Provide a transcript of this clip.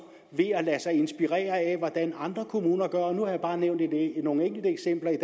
ved at lade sig inspirere af hvordan andre kommuner gør nu har jeg bare nævnt nogle enkelte eksempler i